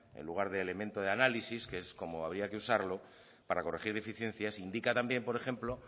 en lugar de elemento de análisis que es como habría que usarlo para corregir deficiencias indica también por ejemplo